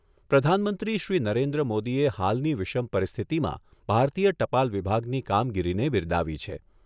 પ્રધાનમંત્રી શ્રી નરેન્દ્ર મોદીએ હાલની વિષમ પરિસ્થિતિમાં ભારતીય ટપાલ વિભાગની કામગીરીને બિરદાવી છે.